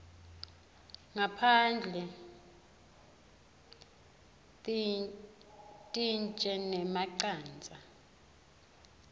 ngaphandle tintje nemacandza